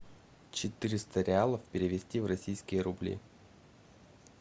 четыреста реалов перевести в российские рубли